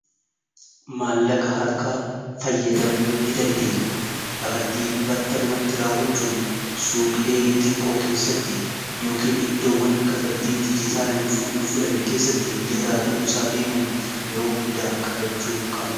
Maallaqa harkaa fayyadamuu ni dandeeyya kaffaltii battalumatti raawwachuun suuqilee xiqqoo keessatti yookin iddoowwan kafaltii dijitaala hin fudhanne keessatti mijata ta'uu isaa beekuun yeroo hundaa qabachuu qabna.